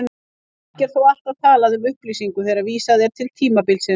Ekki er þó alltaf talað um upplýsingu þegar vísað er til tímabilsins.